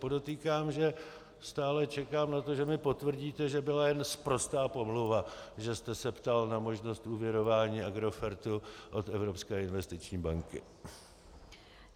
Podotýkám, že stále čekám na to, že mi potvrdíte, že byla jen sprostá pomluva, že jste se ptal na možnost úvěrování Agrofertu od Evropské investiční banky.